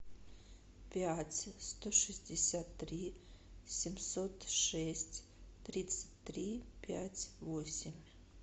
пять сто шестьдесят три семьсот шесть тридцать три пять восемь